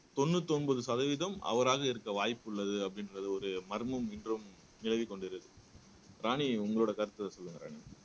தொண்ணூத்தி ஒன்பது சதவீதம் அவராக இருக்க வாய்ப்புள்ளது அப்படின்றது ஒரு மர்மம் இன்றும் நிலவிக்கொண்டு இருக்கு ராணி உங்களோட கருத்தை சொல்லுங்க ராணி